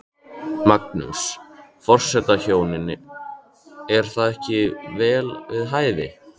Magnús: Forsetahjónin, er það ekki vel við hæfi?